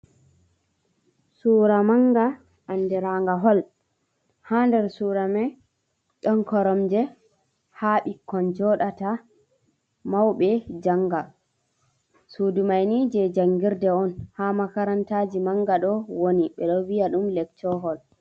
Suura mannga andiranga hol, haa nder suura may ɗon koromje ,haa bikkon joɗata ,mawɓe jannga .Suudu may ni jey janngirde on, haa makarantaaji mannga, ɗo woni ɓe ɗo viya ɗum lecco hol.